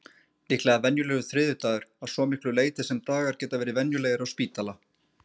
Líklega venjulegur þriðjudagur, að svo miklu leyti sem dagar geta verið venjulegir á spítala.